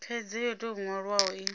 khaidzo yo tou nwalwaho i